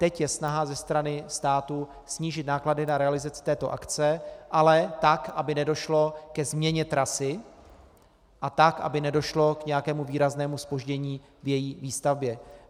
Teď je snaha ze strany státu snížit náklady na realizaci této akce, ale tak, aby nedošlo ke změně trasy, a tak, aby nedošlo k nějakému výraznému zpoždění v její výstavbě.